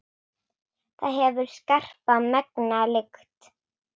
Það hefur skarpa, megna lykt.